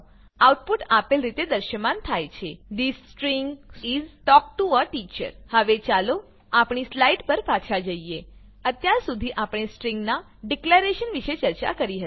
output આપેલ રીતે દ્રશ્યમાન થાય છે the string is talk to a teacher હવે ચાલો આપણી સ્લાઈડ પર પાછા જઈએ અત્યાર સુધી આપણે સ્ટ્રિંગ નાં ડીકલેરેશન વિશે ચર્ચા કરી હતી